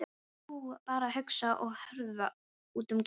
Ég var bara að hugsa og horfa út um gluggann.